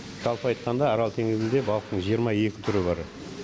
жалпы айтқанда арал теңізінде балықтың жиырма екі түрі бар